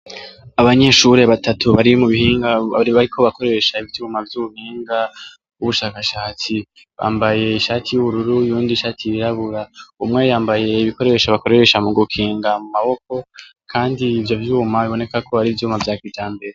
abanyeshuri batatu bari mubuhinga bariko bakoresha ivyuma vy'ubu bihinga n'ubushakashatsi bambaye ishati y'ubururu uyundi ishati yirabura umwe yambaye ibikoresha bakoresha mu gukinga mu maboko kandi ivyo vyuma biboneka ko ari ivyuma vya kijambere